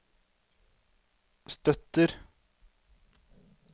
støtter